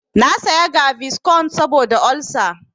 Na saya gaviscon saboda olsa.